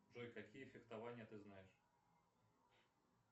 джой какие фехтования ты знаешь